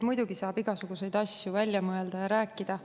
Muidugi saab igasuguseid asju välja mõelda ja rääkida.